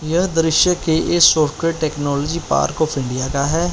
यह दृश्य के इस software technology park of India का है।